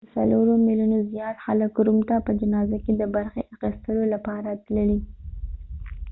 د څلورو میلیونو زیات خلک روم ته په جنازه کې د برخې اخیستلو لپاره تللي